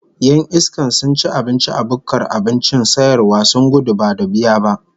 Yan iskan sun ci abinci a bukkar abincin sayarwa sun gudu Badu biya ba